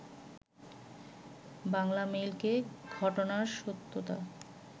বাংলামেইলকে ঘটনার সত্যতা